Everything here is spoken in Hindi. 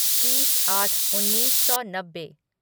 तीस आठ उन्नीस सौ नब्बे